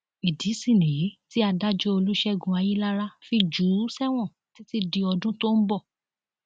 ìdí sì nìyí tí adájọ olùṣègùn ayilára fi jù ú sẹwọn títí di ọdún tó ń bọ